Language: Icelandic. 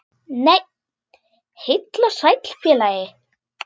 Nei, heill og sæll félagi!